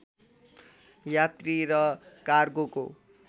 यात्री र कार्गोको